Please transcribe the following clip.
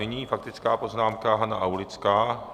Nyní faktická poznámka - Hana Aulická.